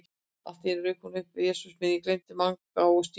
En allt í einu rauk hún upp: Jesús minn, ég gleymdi Manga og Stínu